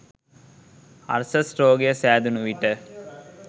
අර්ශස් රෝගය සෑදුණු විට